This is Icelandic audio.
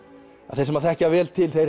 þeir sem þekkja vel til